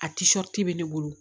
A bɛ ne bolo